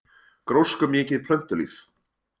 Gróskumikið plöntulíf